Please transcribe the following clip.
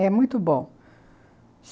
É muito bom.